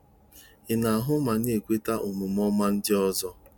Ị na-ahụ ma na-ekweta omume ọma nke ndị ọzọ?